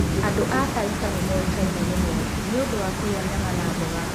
Andũ a Taita nĩ moĩkaine mũno nĩ ũndũ wa kũrĩa nyama na mboga.